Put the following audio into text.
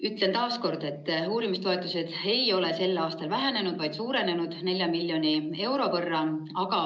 " Ütlen taas kord, et uurimistoetused ei ole sel aastal vähenenud, vaid suurenenud 4 miljoni euro võrra.